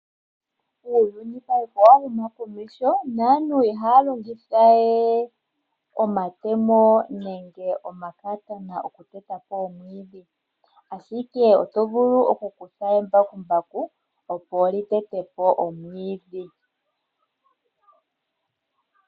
Uuyuni payife owahuma komeho naantu ihaya longitha we omatemo nenge omakatana oku tetapo omwiidhi ,Ashike otuvulu okukutha embakumbaku opo litetepo omwiidhi.